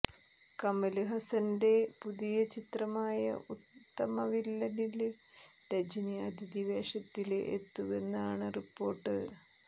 കമല് ഹസ്സന്റെ പുതിയ ചിത്രമായ ഉത്തമവില്ലനില് രജനി അതിഥി വേഷത്തില് എത്തുന്നുവെന്നാണ് റിപ്പോര്ട്ട്